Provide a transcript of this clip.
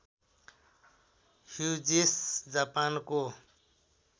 Hughes जापानको